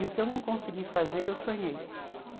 E o que eu não consegui fazer, eu sonhei.